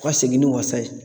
U Ka segin ni wasa ye.